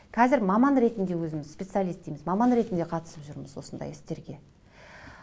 қазір маман ретінде өзім специалист дейміз маман ретінде қатысып жүрміз осындай істерге